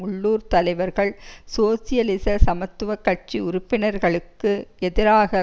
உள்ளூர் தலைவர்கள் சோசியலிச சமத்துவ கட்சி உறுப்பினர்களுக்கு எதிராக